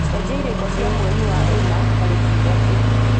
cenjia irĩko cia mweri wa ĩna tarĩki ithatũ